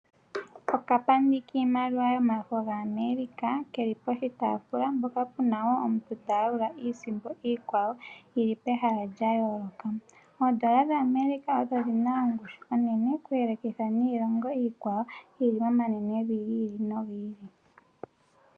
Okapandi kiimaliwa yomafo gaAmerica keli poka taafula mpoka puna wo omuntu ta yalula iisimpo yili pwhala lya yoloka. Oodollar dhaAmerica odho dhina ongushu onene oku yele kanitha niilongo iikwawo yili momanwnevi giili nogiili.